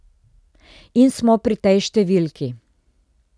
In smo pri tej številki.